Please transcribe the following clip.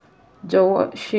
Jọwọ ṣe